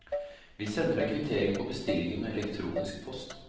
Vi sender deg kvittering på bestillingen med elektronisk post.